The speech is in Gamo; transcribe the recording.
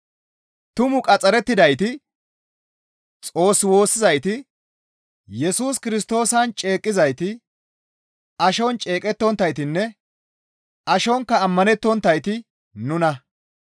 Tumu qaxxarettidayti, Xoos woossizayti, Yesus Kirstoosan ceeqqizayti, ashon ceeqettonttaytinne ashonkka ammanettonttayti nuna.